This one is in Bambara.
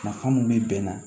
Nafa mun be bɛn na